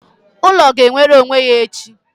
ulo ga-enwere onwe ya echi